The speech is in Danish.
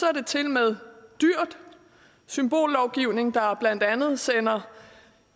er tilmed dyr symbollovgivning der blandt andet sender